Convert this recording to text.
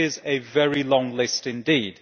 This is a very long list indeed.